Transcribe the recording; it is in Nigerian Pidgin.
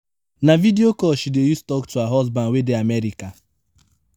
na video call she dey use tok to her husband wey dey america.